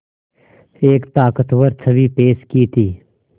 एक ताक़तवर छवि पेश की थी